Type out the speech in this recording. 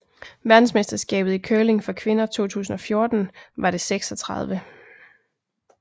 Verdensmesterskabet i curling for kvinder 2014 var det 36